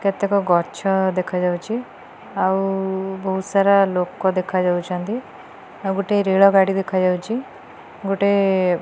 କେତେକ ଗଛ ଦେଖା ଯାଉଛି ଆଉ ବୋହୁତ୍ ସାରା ଲୋକ ଦେଖା ଯାଉଛନ୍ତି ଆଉ ଗୋଟେ ରେଳ ଗାଡ଼ି ଦେଖାଯାଉଛି ଗୋଟେ --